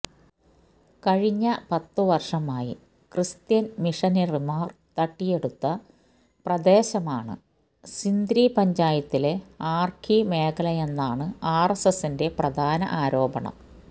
കഴിഞ്ഞ പത്ത് വര്ഷമായി ക്രിസ്ത്യന് മിഷനറിമാര് തട്ടിയെടുത്ത പ്രദേശമാണ് സിന്ദ്രി പഞ്ചായത്തിലെ ആര്കി മേഖലയെന്നാണ് ആര്എസ്എസിന്റെ പ്രധാന ആരോപണം